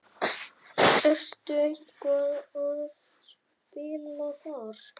Ertu eitthvað að spila þar?